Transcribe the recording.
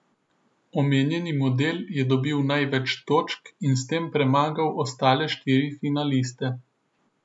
Omenjeni model je dobil največ točk in s tem premagal ostale štiri finaliste.